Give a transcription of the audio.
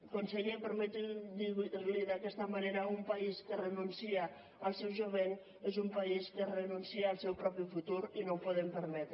conseller permeti’m dir li ho d’aquesta manera un país que renuncia al seu jovent és un país que renuncia al seu propi futur i no ho podem permetre